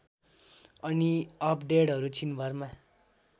अनि अपडेडहरू छिनभरमा